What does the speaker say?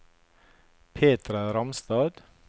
Petra Ramstad